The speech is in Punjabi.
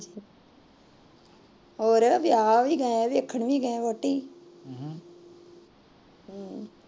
ਹੋਰ ਵਿਆਹ ਵੀ ਗਏ ਆਂ ਵੇਖਣ ਵੀ ਗਏ ਆ ਵਹੁਟੀ